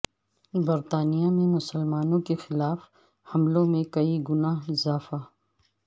برطانیہ میں مسلمانوں کے خلاف حملوں میں کئی گنا اضافہ